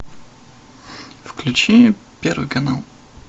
включи первый канал